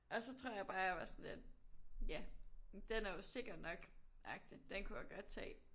Og så tror jeg bare jeg var sådan lidt ja den er jo sikker nok agtig. Den kunne jeg godt tage